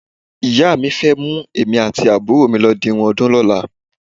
Ìyá mi fẹ́ mú èmi àti àbúrò mi lọ di irun ọdún lọ́la.